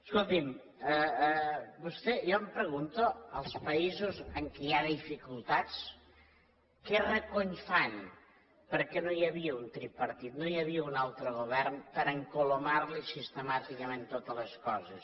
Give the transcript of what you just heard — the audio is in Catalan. escolti’m jo em pregunto els països en què hi ha dificultats què recony fan perquè no hi havia un tripartit no hi havia un altre govern per a encolomar li sistemàticament totes les coses